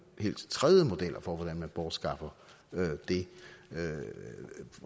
helt tredje model for hvordan man bortskaffer det